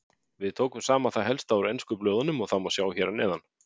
Við tókum saman það helsta úr ensku blöðunum og það má sjá hér að neðan.